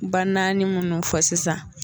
Ba naani munnu fɔ sisan